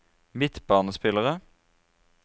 midtbanespillere